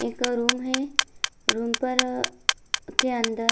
एगो रूम है रूम पर के अंदर --